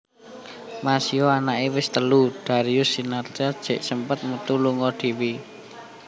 Masio anake wes telu Darius Sinathrya jek sempet metu lunga dhewe